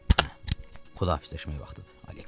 Hə, xudahafizləşmək vaxtıdır, Aleksis.